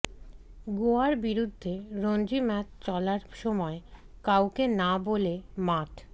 গোয়ার বিরুদ্ধে রঞ্জি ম্যাচ চলার সময় কাউকে না বলে মাঠ